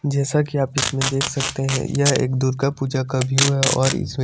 जैसा की आप इसमें देख सकते है यह एक दुर्गा पूजा का व्यू है और इसमें--